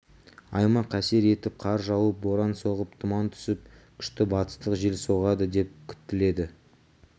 аймақ әсер етіп қар жауып боран соғып тұман түсіп күшті батыстық жел соғады деп күтіледі